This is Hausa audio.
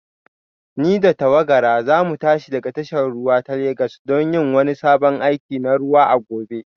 Ni da tawagara za mu tashi daga tashar ruwa ta Legas don yin wani sabon aiki na ruwa a gobe